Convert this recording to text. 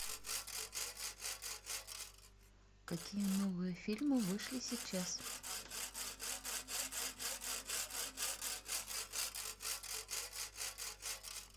какие новые фильмы вышли сейчас